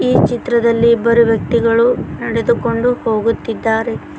ಈ ಚಿತ್ರದಲ್ಲಿ ಇಬ್ಬರು ವ್ಯಕ್ತಿಗಳು ನಡೆದುಕೊಂಡು ಹೋಗುತ್ತಿದ್ದಾರೆ.